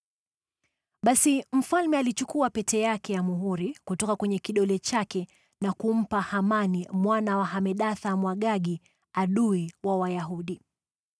Basi mfalme alichukua pete yake ya muhuri kutoka kwenye kidole chake na kumpa Hamani mwana wa Hamedatha, Mwagagi, adui wa Wayahudi.